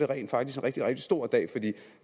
rent faktisk en rigtig rigtig stor dag for det